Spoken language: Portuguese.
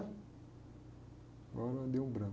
Agora, me deu um branco.